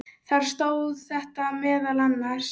Þar stóð þetta meðal annars